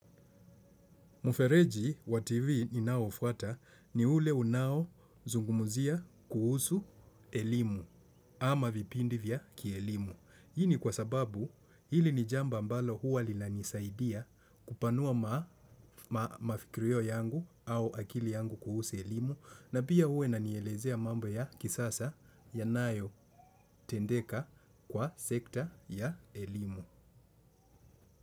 Mufereji wa TV inaoufuata ni ule unao zungumuzia kuhusu elimu ama vipindi vya kielimu. Hii ni kwa sababu hili ni jambo ambalo huwa linanisaidia kupanua mafikrio yangu au akili yangu kuhusu elimu na pia huwa inanielezea mambo ya kisasa yanayotendeka kwa sekta ya elimu.